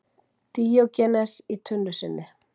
Díógenes í tunnu sinni.